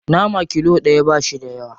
Nama kilo ɗaya ba shi da yawa.